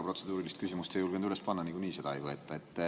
Protseduurilist küsimust ei julgenud üles panna, nagunii seda ei võeta.